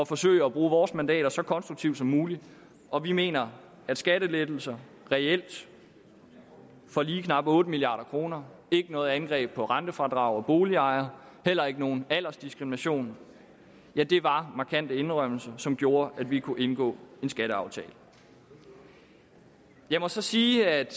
forsøge at bruge vores mandater så konstruktivt som muligt og vi mener at skattelettelser reelt for lige knap otte milliard kr ikke noget angreb på rentefradrag og boligejere heller ikke nogen aldersdiskrimination var markante indrømmelser som gjorde at vi kunne indgå en skatteaftale jeg må så sige at